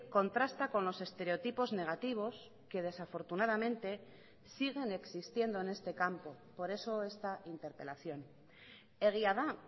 contrasta con los estereotipos negativos que desafortunadamente siguen existiendo en este campo por eso esta interpelación egia da